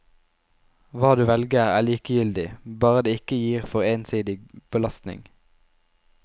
Hva du velger, er likegyldig, bare det ikke gir for ensidig belastning.